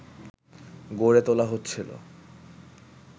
গড়ে তোলা হচ্ছিল